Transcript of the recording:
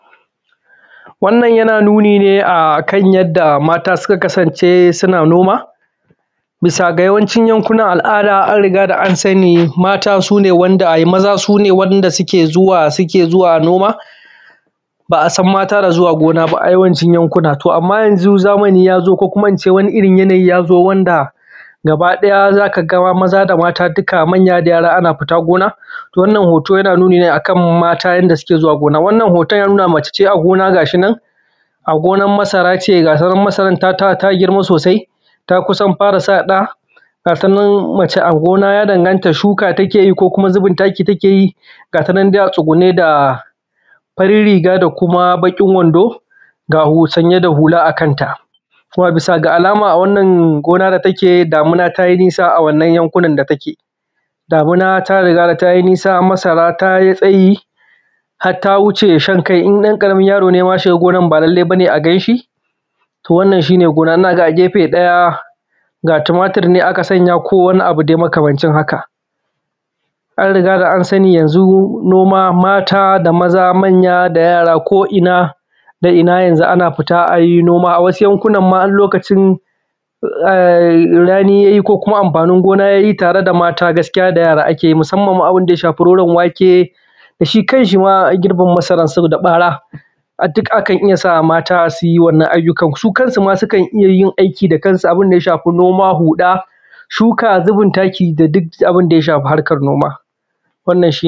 Wannan yana nuni ne akan yadda mata suka kasance suna noma. Bisa ga yawancin yankunan al’ada an rigada an sani maza sune waɗanda suke zuwa noma, ba a san mata na zuwa noma ba a yawancin yankuna. To amma yanzu zamani yazo ko kuma ince yanayi yazo wanda gaba ɗaya za ka ga maza da mata duka manya da yara fita noma. Wannan hoto yana nuni ne akan mata yadda suke zuwa gona, wannan hoto yana nuna mace a gona ga shi nan a gonan masara ce, ga tanan masarar ta girma sosai ta kusan fara sa ɗa, ga tanan mace a gona ya danganta shuka take yi ko kuma zubin taki take yi. Ga tanan dai a tsugunne da farin riga da kuma bakin wando sanye da hula a kanta. A bisa alama wannan dake damina ta yi nisa a wannan yankunan da kake, damina ta riga da ta yi nisa har ta yi shankai. Ɗan ƙaramin yaro ne ya shiga gonan ba lallai bane a ganshi. To wannan shine gona. Ga a gefe ɗaya ga tumatur nan aka sanya ko wani abu dai makamancin haka. An riga da an sani yanzu noma mata da maza manya da yara ko inna da inna ana fita yanzu a yi noma. Wasu yankunan ma har lokacin rani ya yi ko kuma amfanin gona tare da mata da yara ake yi musamman ma abunda ya shafi roron wake da girbin masara saboda ɓara duk akan iya sa mata su yi wannan ayyukan. Su kansu ma sukan iya yin wannan ayyukan da kansu, abunda ya shafi noma huda shuka, zubin taki da duk abunda ya shafi haka.